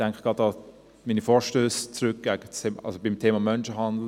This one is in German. Ich denke etwa auch an meine Vorstösse zum Thema Menschenhandel.